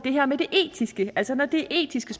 her med det etiske altså når det er etiske